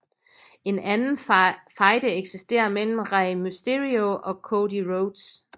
En anden fejde eksisterer mellem Rey Mysterio og Cody Rhodes